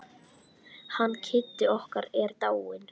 Hann Kiddi okkar er dáinn.